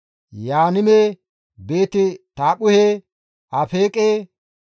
Yaanime, Beeti-Taaphphuhe, Afeeqe,